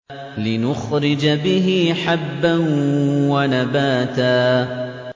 لِّنُخْرِجَ بِهِ حَبًّا وَنَبَاتًا